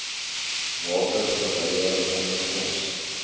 water verwyder ondergronds